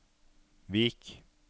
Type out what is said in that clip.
Vik